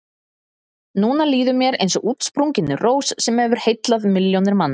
Núna líður mér eins og útsprunginni rós sem hefur heillað milljónir manna.